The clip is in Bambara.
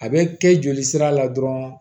A bɛ kɛ joli sira la dɔrɔn